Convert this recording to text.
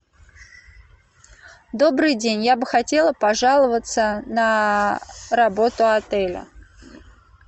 добрый день я бы хотела пожаловаться на работу отеля